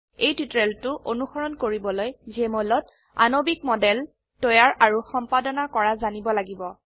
এই টিউটোৰিয়েলটো অনুসৰণ কৰিবলৈ জেএমঅল ত আণবিক মডেল তৈয়াৰ আৰু সম্পাদনা কৰা জানিব লাগিব